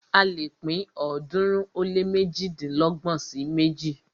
A lè pín ọ̀ọ́dúnrún ó lé méjìdínlọ́gbọ̀n sí méjì.